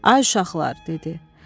Ay uşaqlar, dedi.